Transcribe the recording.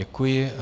Děkuji.